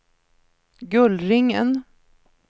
Gullringen